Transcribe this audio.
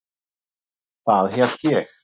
Það hélt ég.